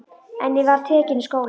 En ég var tekin í skólann.